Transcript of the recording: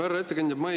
Härra ettekandja!